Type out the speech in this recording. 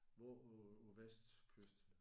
Hvor på på vestkysten?